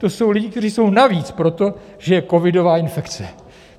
To jsou lidi, kteří jsou navíc proto, že je covidová infekce.